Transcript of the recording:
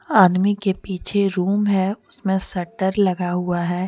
आदमी के पीछे रूम है उसमें सटर लगा हुआ है ।